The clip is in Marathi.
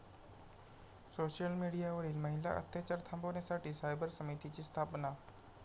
सोशल मीडियावरील महिला अत्याचार थांबवण्यासाठी सायबर समितिची स्थापना